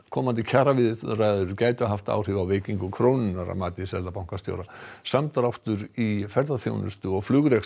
komandi kjaraviðræður gætu haft áhrif á veikingu krónunnar að mati seðlabankastjóra samdráttur í ferðaþjónustu og flugrekstri